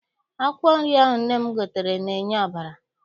Akwụkwọ nri ahụ nne m gotere na-enye ọbara.